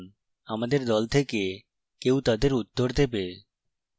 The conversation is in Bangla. আমাদের দল থেকে কেউ তাদের উত্তর দেবে